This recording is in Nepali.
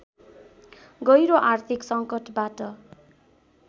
गहिरो आर्थिक संकटबाट